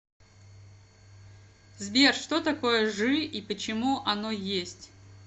сбер что такое жи и почему оно есть